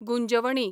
Gunjavani